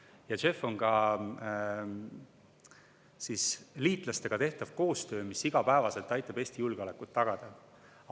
JEF on ka liitlastega tehtav koostöö, mis igapäevaselt aitab Eesti julgeolekut tagada.